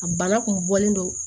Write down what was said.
A bana kun bɔlen don